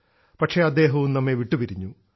പക്ഷേ അദ്ദേഹവും നമ്മെ വിട്ടു പിരിഞ്ഞു